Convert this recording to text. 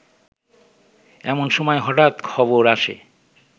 এমন সময় হঠাৎ খবর আসে